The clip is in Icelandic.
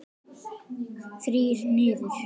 Þrír niður.